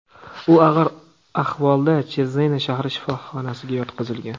U og‘ir ahvolda Chezena shahri shifoxonasiga yotqizilgan.